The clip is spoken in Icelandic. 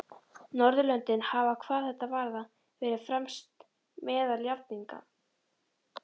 Norðurlöndin hafa hvað þetta varðar verið fremst meðal jafningja.